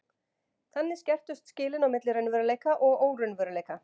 þannig skerptust skilin milli raunveruleika og óraunveruleika